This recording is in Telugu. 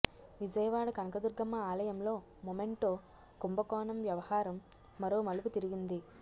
విజయవాడ కనకదుర్గమ్మ ఆలయంలో మొమెంటో కుంభకోణం వ్యవహారం మరో మలుపు తిరిగింది